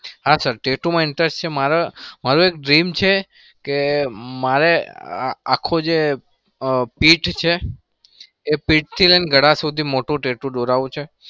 હા sir tattoo માં interest છે મારે એક dream મારે આખી જે પીઠ છે, એ પીઠથી લઈને ગળા સુધી મોટું tattoo દોરાવું છે.